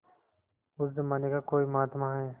उस जमाने का कोई महात्मा है